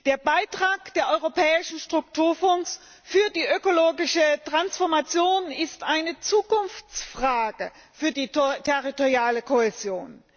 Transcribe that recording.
Der Beitrag der europäischen Strukturfonds zur ökologischen Transformation ist eine Zukunftsfrage für die territoriale Kohäsion.